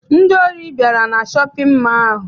Ndị ohi bịara na shọpịn mọọ ahụ.